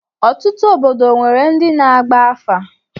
Ọtụtụ obodo nwere ndị na-agba afa.